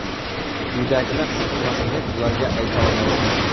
Uydagilar siqilmasin, deb ularga ayta olmaysiz.